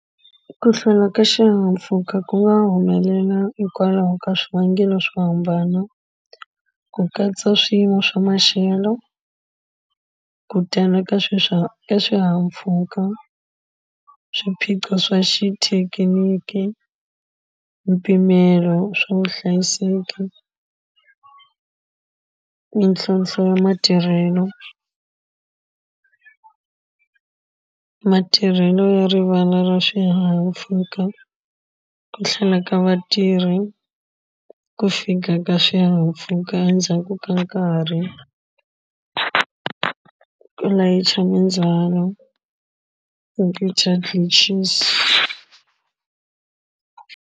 Ku hlwela ka xihahampfuka ku nga humelela hikwalaho ka swivangelo swo hambana ku katsa swiyimo swa maxelo ku tala ka eswihahampfhuka swiphiqo swa xithekiniki mpimelo wa swa vuhlayiseki mintlhlothlo ya matirhelo matirhelo ya rivala ra swihahampfuka ku hlwela ka vatirhi ku fika ka swihahampfhuka endzhaku ka nkarhi ku layicha mindzhwalo computer glitches.